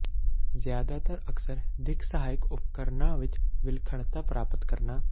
ਜ਼ਿਆਦਾਤਰ ਅਕਸਰ ਦਿੱਖ ਸਹਾਇਕ ਉਪਕਰਣਾਂ ਵਿਚ ਵਿਲੱਖਣਤਾ ਪ੍ਰਾਪਤ ਕਰਨਾ